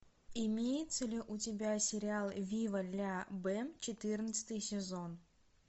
имеется ли у тебя сериал вива ля бэм четырнадцатый сезон